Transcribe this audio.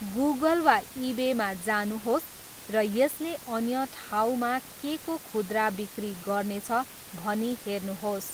Google वा इबेमा जानुहोस् र यसले अन्य ठाउँमा केको खुद्रा बिक्री गर्नेछ भनी हेर्नुहोस्।